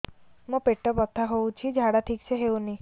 ମୋ ପେଟ ବଥା ହୋଉଛି ଝାଡା ଠିକ ସେ ହେଉନି